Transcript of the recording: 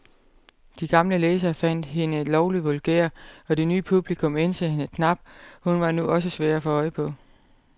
De gamle læsere fandt hende lovlig vulgær, og det nye publikum ænsede hende knap, hun var nu også svær at få øje på.